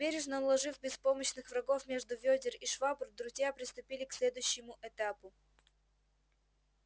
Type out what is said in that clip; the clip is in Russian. бережно уложив беспомощных врагов между вёдер и швабр друзья приступили к следующему этапу